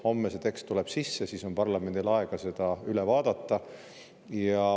Homme see tekst tuleb sisse, siis on parlamendil aega seda üle vaadata.